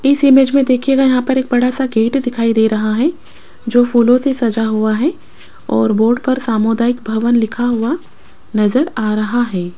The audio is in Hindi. इस इमेज में देखिएगा यहां पर एक बड़ा सा गेट दिखाई दे रहा है जो फूलों से सजा हुआ है और बोर्ड पर सामुदायिक भवन लिखा हुआ नजर आ रहा है।